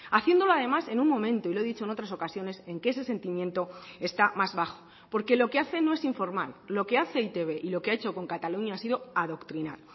haciéndolo además en un momento y lo he dicho en otras ocasiones en que ese sentimiento está más bajo porque lo que hace no es informar lo que hace e i te be y lo que ha hecho con cataluña ha sido adoctrinar